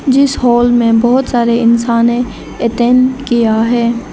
जिस हाल में बहोत सारे इंसाने अटेंन किया है।